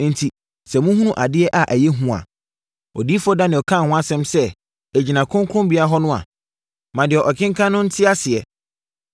“Enti, sɛ mohunu ‘Adeɛ a Ɛyɛ Hu’ a, Odiyifoɔ Daniel kaa ho asɛm sɛ ɛgyina kronkronbea hɔ no a, ma deɛ ɔkenkan no nte aseɛ,